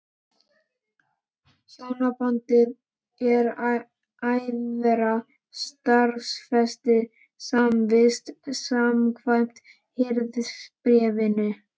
Hjónabandið er æðra staðfestri samvist, samkvæmt Hirðisbréfinu.